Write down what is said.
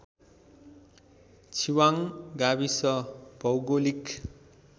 छिवाङ गाविस भौगोलिक